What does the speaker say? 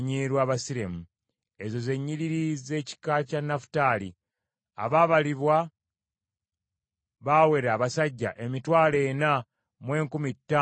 Ezo ze nnyiriri z’ekika kya Nafutaali. Abaabalibwa baawera abasajja emitwalo ena mu enkumi ttaano mu ebikumi bina (45,400).